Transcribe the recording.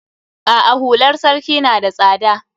A'a hular sarki na da tsada.